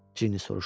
Ginni soruşdu.